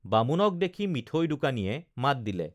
বামুণক দেখি মিঠৈ দোকানীয়ে মাত দিলে